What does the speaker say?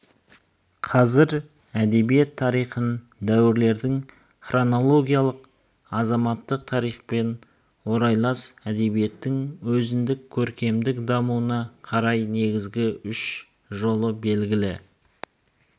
қазір әдебиет тарихын дәуірлеудің хронологиялық азаматтық тарихпен орайлас әдебиеттің өзіндік көркемдік дамуына қарай негізгі үш жолы белгілі